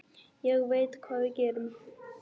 Ég veit hvað við gerum!